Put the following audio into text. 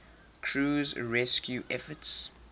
crew's rescue efforts